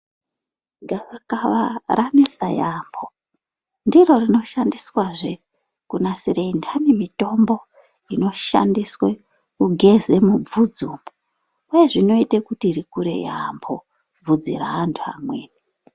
Gava kava ranesa yambo ndiri rinoshandiswazve kunasira Sandi mitombo inoshandiswa kunasira vhudzi umu nezvinoita rikure yambo vhudzi revantu vamweni.